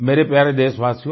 मेरे प्यारे देशवासियो